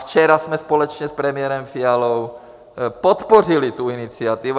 Včera jsme společně s premiérem Fialou podpořili tu iniciativu.